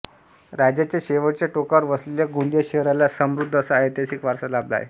राज्याच्या शेवटच्या टोकावर वसलेल्या गोंदिया शहराला समृद्ध असा ऐतिहासिक वारसा लाभला आहे